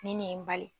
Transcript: Nin ne ye n bali